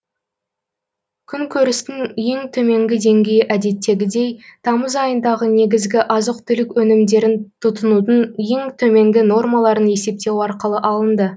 күнкөрістің ең төменгі деңгейі әдеттегідей тамыз айындағы негізгі азық түлік өнімдерін тұтынудың ең төменгі нормаларын есептеу арқылы алынды